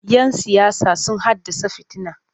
Yan siyasa sun haddasa fitina.